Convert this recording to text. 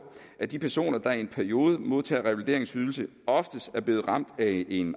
at de personer der i en periode modtager revalideringsydelse oftest er blev ramt af en